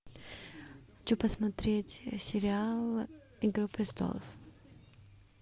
хочу посмотреть сериал игра престолов